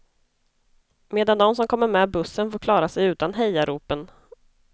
Medan de som kommer med bussen får klara sig utan hejaropen.